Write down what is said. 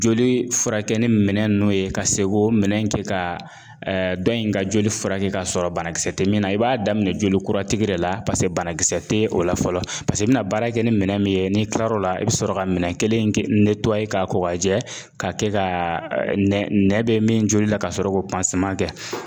Joli furakɛ ni minɛn ninnu ye ka se k'o minɛn kɛ ka dɔn in ka joli furakɛ kasɔrɔ banakisɛ te min na. I b'a daminɛ joli kura tigi de la pase banakisɛ te o la fɔlɔ pase i bi na baara kɛ ni minɛn min ye n'i tilar'o la i be sɔrɔ ka minɛn kelen in ke k'a ko k'a jɛ k'a kɛ kaa nɛ nɛ bɛ min joli la kasɔrɔ k'o kɛ.